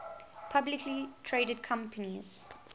publicly traded companies